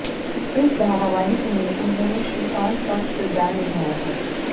इस धारावाहिक में उन्होंने श्रीकांत का किरदार निभाया था